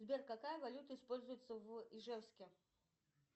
сбер какая валюта используется в ижевске